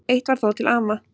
Eitt var þó til ama.